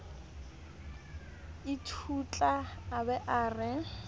ithutla a ba a re